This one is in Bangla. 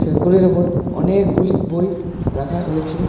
সেলফগুলির ওপর অনেকগুলি বই রাখা রয়েছে।